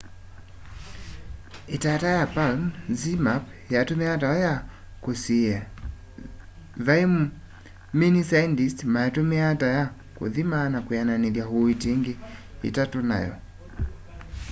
itata ya palm zmapp yatumiawa tayo ya kusiia vei mini saendisti maitumiaa ta ya kuthima na kwiananithya uiiti ingi itatu nayo